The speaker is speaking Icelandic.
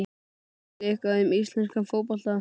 Veistu eitthvað um íslenskan fótbolta?